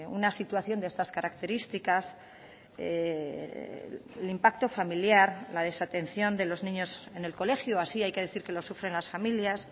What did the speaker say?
una situación de estas características el impacto familiar la desatención de los niños en el colegio así hay que decir que lo sufren las familias